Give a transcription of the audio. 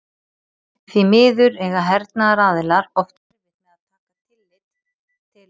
því miður eiga hernaðaraðilar oft erfitt með að taka tillit til slíkra fyrirvara